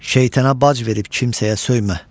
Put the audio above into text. Şeytana bac verib kimsəyə söymə.